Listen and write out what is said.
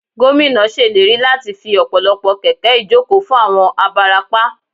Gómìnà ṣèlérí láti fi ọ̀pọ̀lọpọ̀ kẹ̀kẹ́ ìjókòó fún àwọn abarapá